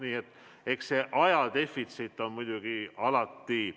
Nii et eks aja defitsiit ole alati.